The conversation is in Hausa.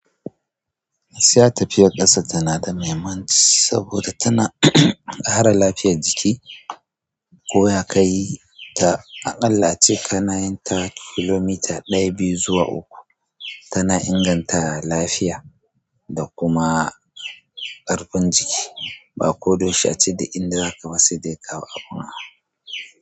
Gaskiya tafiyar ƙasa tana da mahimmanci saboda tana kare lafiyar jiki. Ko ya ka yi ta aƙalla ce ƙanayi tara kilomita ɗaya biyu zuwa uku, tana inganta lafiya da kuma ƙarfin jiki. Ba ko dah yaushe ace da inda zaka wasi dai kawo a una.